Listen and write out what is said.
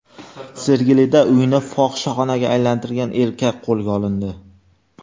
Sergelida uyini fohishaxonaga aylantirgan erkak qo‘lga olindi.